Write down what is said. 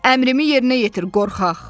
Əmrimi yerinə yetir, qorxaq!